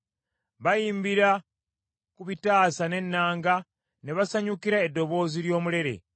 Bayimbira ku bitaasa n’ennanga, ne basanyukira eddoboozi ly’omulere.